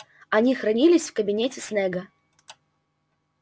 они хранились в кабинете снегга